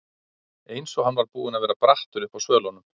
Eins og hann var búinn að vera brattur uppi á svölunum.